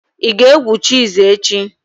Ị ga-egwu chess echi?